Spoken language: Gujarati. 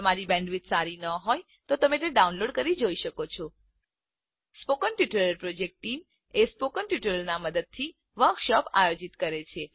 જો તમારી પાસે સારી બેન્ડવિડ્થ ન હોય તો તમે ડાઉનલોડ કરી તે જોઈ શકો છો spoken tutorial project team spoken ટ્યુટોરીયલોની મદદથી વર્કશોપ આયોજિત કરે છે